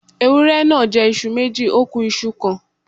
Ewúré náà jẹ́ iṣu méjì, ó ku iṣu kan.